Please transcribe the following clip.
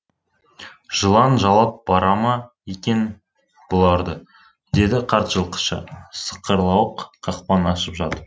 жылан жалап бара ма екен бұларды деді қарт жылқышы сықырлауық қақпаны ашып жатып